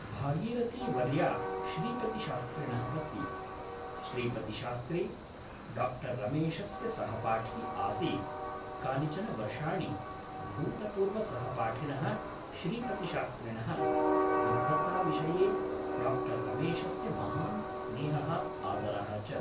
भागीरथीवर्या श्रीपतिशास्त्रिणः पत्नी । श्रीपतिशास्त्री डाक्टर् रमेशस्य सहपाठी आसीत् कानिचन वर्षाणि भूतपूर्वसहपाठिनः श्रीपतिशास्त्रिणः विद्वत्ताविषये डारमेशस्य महान् स्नेहः आदरः च ।